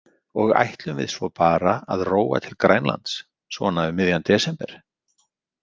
Og ætlum við svo bara að róa til Grænlands, svona um miðjan desember?